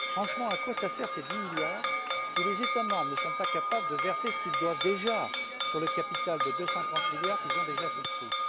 Franchement, à quoi servent ces 10 milliards si les États membres ne sont pas capables de verser ce qu'ils doivent déjà sur le capital de 230 milliards, qu'ils ont souscrit?